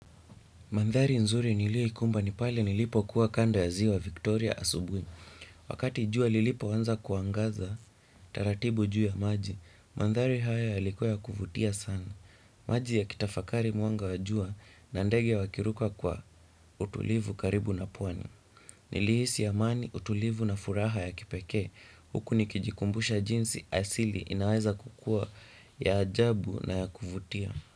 Mandhari nzuri nilioikumba ni pale nilipokuwa kando ya ziwa Victoria Asubui. Wakati jua lilipoanza kuangaza taratibu juu ya maji, mandhari haya yalikuwa ya kuvutia sana. Maji ya kitafakari mwanga wa jua na ndege wakiruka kwa utulivu karibu na pwani. Nilihisi amani utulivu na furaha ya kipekee huku nikijikumbusha jinsi asili inaweza kukua ya ajabu na ya kuvutia.